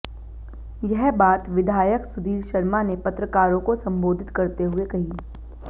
यह बात विधायक सुधीर शर्मा ने पत्रकारों को संबोधित करते हुए कही